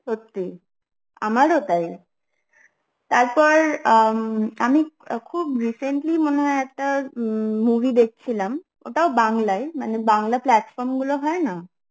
সত্যি, আমারও তাই তারপর আমি খুব recently মনে হয় একটা উম movie দেখছিলাম, ওটাও বাংলাই, মানে বাংলা পাল্ত্ফর্ম গুলো হয়না?